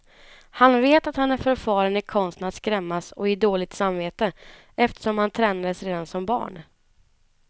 Han vet att han är förfaren i konsten att skrämmas och ge dåligt samvete, eftersom han tränades redan som barn.